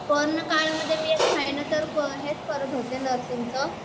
पण काय आर मी एक महिना तर हेच करत होते नर्सिंग च